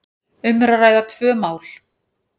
um er að ræða tvö mál.